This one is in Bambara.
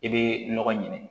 I bɛ nɔgɔ ɲini